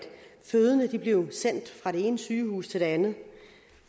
fødende bliver sendt fra det ene sygehus til det andet